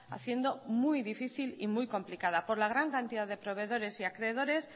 haciendo muy difícil y muy complicada por la gran cantidad de proveedores y acreedores